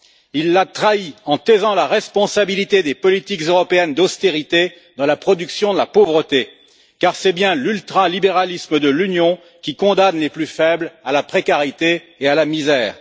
Il la trahit en taisant la responsabilité des politiques européennes d'austérité dans la production de la pauvreté, car c'est bien l'ultralibéralisme de l'Union qui condamne les plus faibles à la précarité et à la misère.